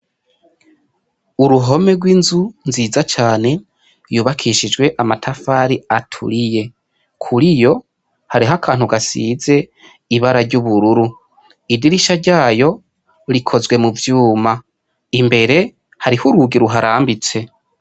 Uruhome gw' inzu nziza cane yubakishijwe amatafari aturiye kuriyo hariho akantu gasize ibara ry' ubururu idirisha ryayo rikozwe mu vyuma imbere hariho urugi ruharambitse.